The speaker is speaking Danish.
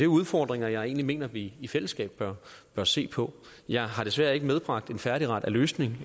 udfordringer jeg egentlig mener vi i fællesskab bør bør se på jeg har desværre ikke medbragt en færdigret af løsninger